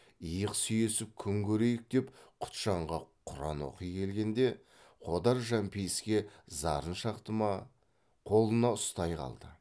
иық сүйесіп күн көрейік деп құтжанға құран оқи келгенде қодар жәмпейіске зарын шақты ма қолына ұстай қалды